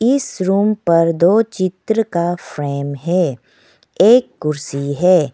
इस रूम पर दो चित्र का फ्रेम है एक कुर्सी है।